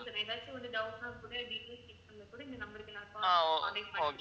ஏதாச்சு ஒரு doubt ன்னா கூட நீங்க கொடுக்கிற number க்கு நான் call பண்ணி contact பண்ணிக்கறேன்